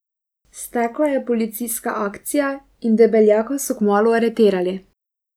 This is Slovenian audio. Stekla je policijska akcija in Debeljaka so kmalu aretirali.